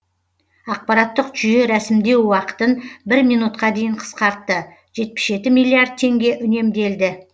ақпараттық жүйе рәсімдеу уақытын бір минутқа дейін қысқартты жетпіс жеті миллиард теңге үнемделді